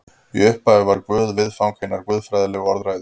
Í upphafi var Guð viðfang hinnar guðfræðilegu orðræðu.